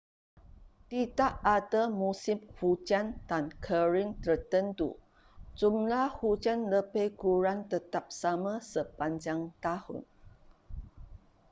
tidak ada musim hujan dan kering tertentu jumlah hujan lebih kurang tetap sama sepanjang tahun